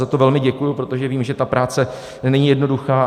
Za to velmi děkuji, protože vím, že ta práce není jednoduchá.